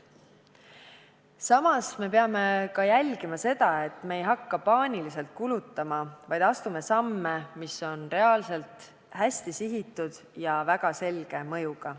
Samas peame jälgima ka seda, et me ei hakkaks paaniliselt kulutama, vaid astuksime samme, mis oleksid reaalselt hästi sihitud ja väga selge mõjuga.